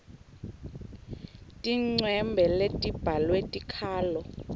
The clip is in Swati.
tincwembe letibhalwe tikhalo